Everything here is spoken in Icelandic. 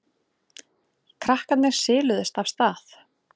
Krakkarnir siluðust af stað.